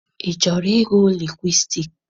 Ị chọrọ ịgụ lingwistiks?